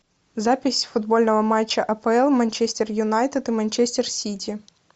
запись футбольного матча апл манчестер юнайтед и манчестер сити